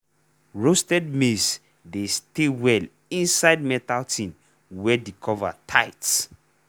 roasted maize dey stay well inside metal tin wey the cover tight.